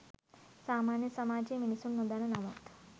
සාමාන්‍ය සමාජයේ මිනිසුන් නොදන්න නමුත්